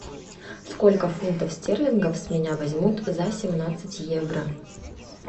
сколько фунтов стерлингов с меня возьмут за семнадцать евро